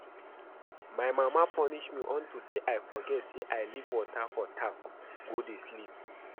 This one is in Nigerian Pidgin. My mama punish me unto say I forget say I leave water for tap go dey sleep